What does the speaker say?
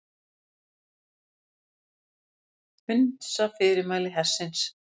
Hunsa fyrirmæli hersins